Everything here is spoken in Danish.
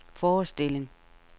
forestilling